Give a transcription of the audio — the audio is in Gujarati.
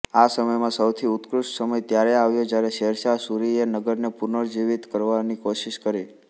આ સમયમાં સૌથી ઉત્કૃષ્ઠ સમય ત્યારે આવ્યો જ્યારે શેરશાહ સૂરીએ નગરને પુનર્જીવિત કરવાની કોશિશ કરી